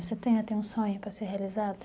Você tem até um sonho para ser realizado?